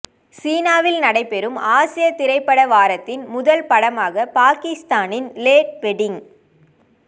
சீனாவில் நடைபெறும் ஆசிய திரைப்பட வாரத்தின் முதல் படமாக பாகிஸ்தானின் லோட் வெடிங்